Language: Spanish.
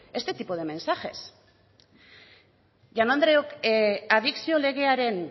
este tipo de mensajes jaun andreok adikzio legearen